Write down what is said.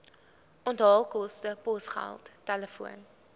onthaalkoste posgeld telefoon